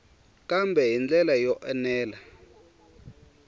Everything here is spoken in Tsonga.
kambe hi ndlela yo enela